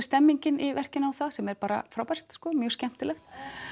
stemningin í verkinu á það sem er bara frábært sko mjög skemmtilegt